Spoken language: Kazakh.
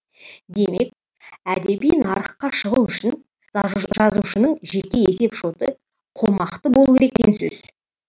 демек әдеби нарыққа шығу үшін жазушының жеке есеп шоты қомақты болу керек деген сөз